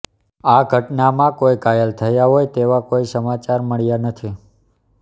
આ ઘટનામાં કોઈ ઘાયલ થયા હોય તેવા કોઈ સમાચાર મળ્યા નથી